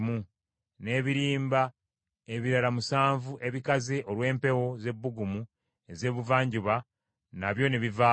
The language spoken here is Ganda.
n’ebirimba ebirala musanvu ebikaze olw’empewo ez’ebbugumu ez’ebuvanjuba, nabyo ne bivaayo.